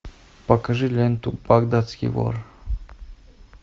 покажи ленту багдадский вор